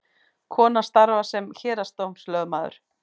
Konan starfar sem héraðsdómslögmaður